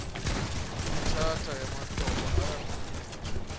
kwitshatha yamaxhoba ayaphunyezwa